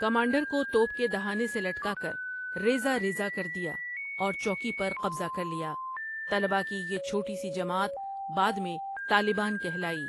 Commander کو توپ کے دہانے سے لٹکا کر ریزہ ریزہ کردیااور چوکی پر قبضہ کر لیا طلبہ کی یہ چھوٹی سی جماعت بعد میں طالبان کہلاٸی ۔